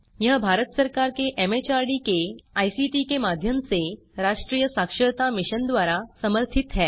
यह भारत सरकार के एमएचआरडी के आईसीटी के माध्यम से राष्ट्रीय साक्षरता मिशन द्वारा समर्थित है